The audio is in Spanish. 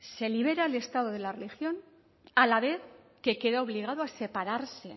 se libera al estado de la religión a la vez que queda obligado a separarse